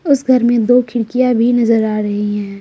उस घर में दो खिड़कियां भी नजर आ रही हैं।